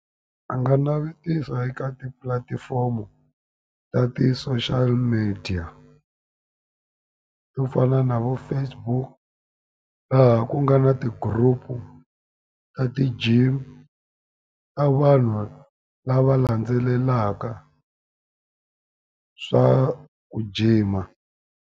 A nga navetisa eka tipulatifomo ta ti-social media. To fana na vo Facebook, laha ku nga na ti-group-u ta ti-gym ta vanhu lava landzelelaka swa ku jima.